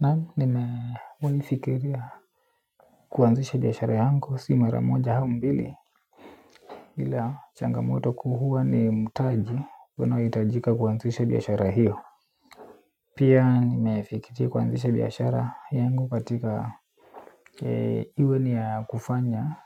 Na nimeona fikiria kuanzisha biashara yangu si mara moja au mbili ila changamoto kuu huwa ni mtaji wanaohitajika kuanzisha biashara hiyo. Pia nimefikiria kuanzisha biashara yangu katika iwe ni ya kufanya